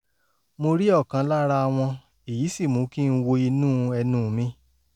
mo rí ọ̀kan lára wọn èyí sì mú kí n wo inú ẹnu mi